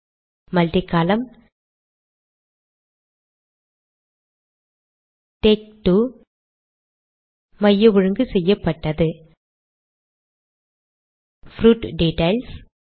multi column tag 2 மைய ஒழுங்கு செய்யப்பட்டது ப்ரூட் டிட்டெயில்ஸ்